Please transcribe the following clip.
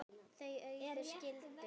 Þau Auður skildu.